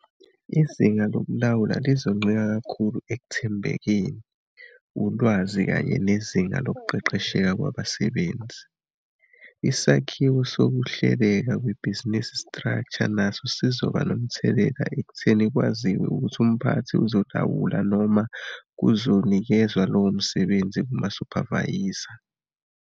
Izinga zokulawula lizoncika kakhulu ekuthembekeni, ulwazi kanye nezinga lokuqeqesheka kwabasebenzi. Isakhiwo sokuhleleka kwebhizinisi structure naso sizoba nomthelela ekutheni kwaziwe ukuthi umphathi ozolawula noma kuzonikezwa lowo msebenzi kumasuphavayiza.